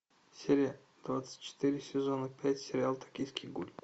серия двадцать четыре сезона пять сериал токийский гуль